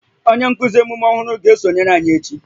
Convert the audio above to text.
Onye nkuzi nkuzi omume ọhụrụ ga-esonyere anyị echi